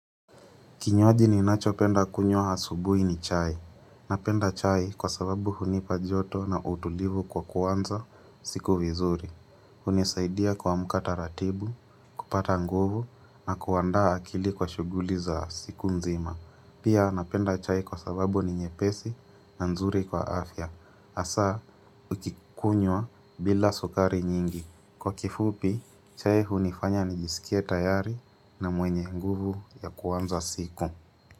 Kinywaji ninachopenda kunywa asubui ni chai. Napenda chai kwa sababu hunipa joto na utulivu kwa kuanza siku vizuri. Hunisaidia kuamka taratibu, kupata nguvu na kuandaa akili kwa shuguli za siku nzima. Pia napenda chai kwa sababu ni nyepesi na nzuri kwa afya. Hasaa, ukikunywa bila sukari nyingi. Kwa kifupi, chai hunifanya nijisikie tayari na mwenye nguvu ya kuanza siku.